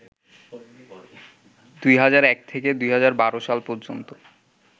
২০০১ থেকে ২০১২ সাল পর্যন্ত